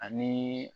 Ani